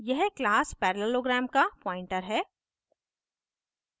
यह class parallelogram का pointer है